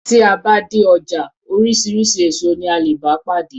Tí a bá dé ọjà oríṣiríṣi èso ní a lè bá pàdé.